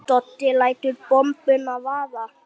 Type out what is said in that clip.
Doddi lætur bombuna vaða.